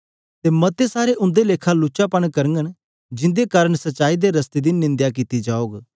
मते गे उन्दे लेखा लुचपन करगन जिन्दे कारन सच्चाई दे रस्अते दी निंदया कित्ती जाग